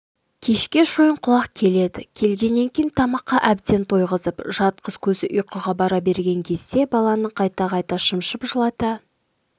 кешке шойынқұлақ келеді келгеннен кейін тамаққа әбден тойғызып жатқыз көзі ұйқыға бара берген кезде баланы қайта-қайта шымшып жылата